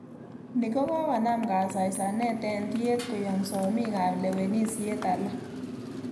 Ni kokonam kasaisanet ak tiet koyom somik ab lewenisiet alak.